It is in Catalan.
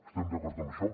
estem d’acord en això